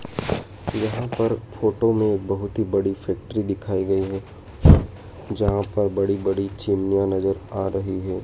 यहां पर फोटो में एक बहोत ही बड़ी फैक्ट्री दिखाई गई है जहां पर बड़ी बड़ी चिमनियां नजर आ रही हैं।